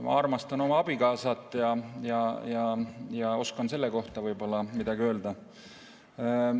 Ma armastan oma abikaasat ja oskan selle kohta võib-olla midagi öelda.